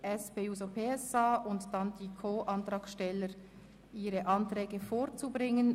Im Voranschlag 2018 ist der Saldo der Produktgruppe 7.7.6 «Bevölkerungsschutz, Sport und Militär» um CHF 0,1 Millionen zu erhöhen.